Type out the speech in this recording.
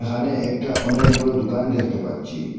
এখানে একটা অনেক বড় দোকান দেখতে পাচ্চি।